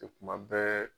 kuma bɛɛ